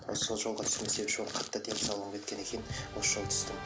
осы сол жолға себепші болып қатты денсаулығым кеткен екен осы жол түсті